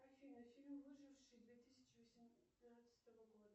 афина фильм выживший две тысячи восемнадцатого года